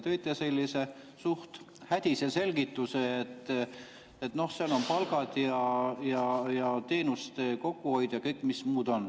Te tõite sellise suht hädise selgituse, et seal on palgad ja teenuste kokkuhoid ja mis kõik veel.